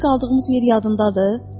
Gecə qaldığımız yer yadındadır?